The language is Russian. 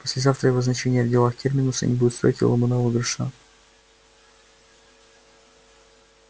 послезавтра его значение в делах терминуса не будет стоить и ломаного гроша